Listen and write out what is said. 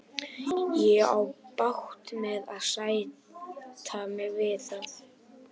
Ég á bágt með að sætta mig við það.